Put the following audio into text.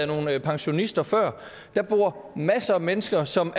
nogle pensionister før der bor masser af mennesker som